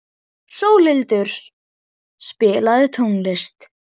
Sólhildur, spilaðu tónlist.